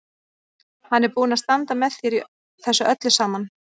Hann er búinn að standa með mér í þessu öllu saman.